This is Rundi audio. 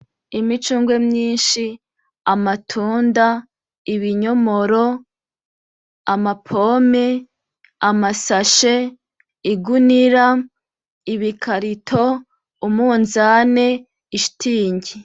Imicungwe myinshi, amatunda, ibinyomoro, amapome, amasashe , igunira, ibikarito, umunzane, ishitingi.